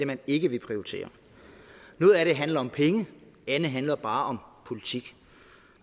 man ikke vil prioritere noget af det handler om penge andet handler bare om politik